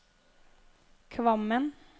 Kvammen